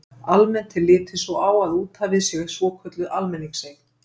Almennt er litið svo á að úthafið sé svokölluð almenningseign.